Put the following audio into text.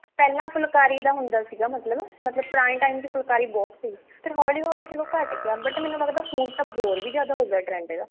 ਫਿਲੰ ਫੁਲਕਾਰੀ ਦਾ ਹੁੰਦਾ ਸੀਗਾ ਮਤਲਬ ਮਤਲਬ ਪੁਰਾਣੇ time ਚ ਫੁਲਕਾਰੀ ਬਹੁਤ ਸੀ ਫ਼ੇਰ ਹੋਲੀ ਹੋਲੀ ਚਲੋ ਘਟ ਗਿਆ but ਮੈਨੂੰ ਲੱਗਦਾ ਹੁਣ ਤਾਂ ਹੋਰ ਵੀ ਜਿਆਦਾ ਹੋਗਿਆ trend ਇਹਦਾ